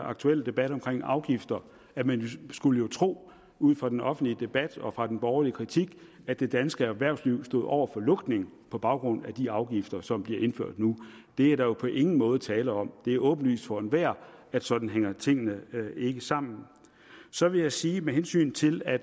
aktuelle debat om afgifter at man jo skulle tro ud fra den offentlige debat og ud fra den borgerlige kritik at det danske erhvervsliv stod over for lukning på baggrund af de afgifter som bliver indført nu det er der jo på ingen måde tale om det er åbenlyst for enhver at sådan hænger tingene ikke sammen så vil jeg sige med hensyn til at